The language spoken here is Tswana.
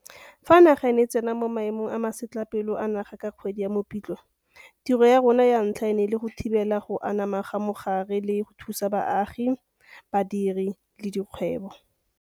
Fa naga e ne e tsena mo Maemong a Masetlapelo a Naga ka kgwedi ya Mopitlwe, tiro ya rona ya ntlha e ne e le go thibela go anama ga mogare le go thusa baagi, badiri le dikgwebo.